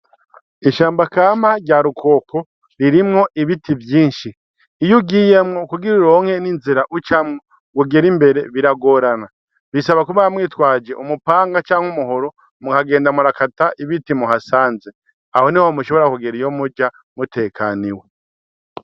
Ishamba kama rya Rukoko ririmwo ibiti vyinshi. Iyo ugiyemwo, kugira uronke n'inzira ucamwo kugira ugere imbere biragorana. Bisaba kuba mwitwaje umupanga canke umuhoro mukagenda murakata ibiti muhasanze. Aho niho mushobora kugera iyo muja mutekaniwe.